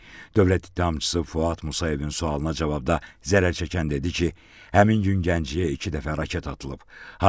Dövlət ittihamçısı Fuad Musayevin sualına cavabda zərər çəkən dedi ki, həmin gün Gəncəyə iki dəfə raket atılıb.